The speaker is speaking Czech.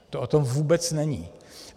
To o tom vůbec není.